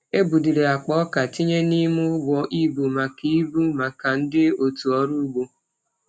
E buliri akpa ọka tinye n’ime ụgbọ ibu maka ibu maka ndị otu ọrụ ugbo.